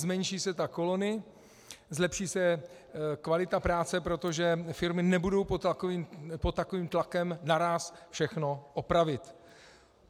Zmenší se tak kolony, zlepší se kvalita práce, protože firmy nebudou pod takovým tlakem naráz všechno opravit.